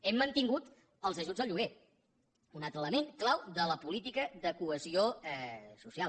hem mantingut els ajuts al lloguer un altre element clau de la política de cohesió social